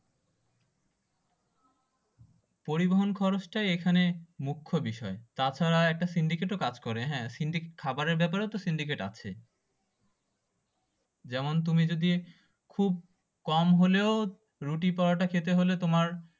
পরিবহন খরচটাই এখানে আসলে মুখ্য বিষয় তাছাড়া একটা সিন্ডিকেট ও কাজ করে খাবার এর ব্যাপারেও তো সিন্ডিকেট আছে যেমন তুমি যদি খুব কম হলেও রুটি পরোটা খেতে হলে তোমার